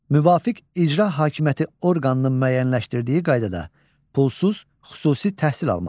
Müvafiq icra hakimiyyəti orqanının müəyyənləşdirdiyi qaydada pulsuz xüsusi təhsil almaq.